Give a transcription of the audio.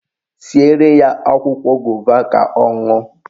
Siere ya akwụkwọ gova ka ọ ṅụọ